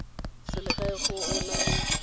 selegae gore o na le